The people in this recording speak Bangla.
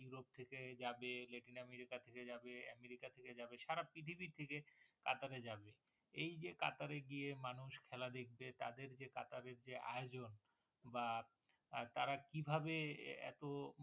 থেকে যাবে, লেটিন আমেরিকা থেকে যাবে, আমেরিকা থেকে যাবে, সারা পৃথিবী থেকে কাতারে যাবে । এই যে কাতারে গিয়ে মানুষ খেলা দেখবে, তাদের যে কাতারের যে আয়োজন বা, বা তারা কিভাবে এত?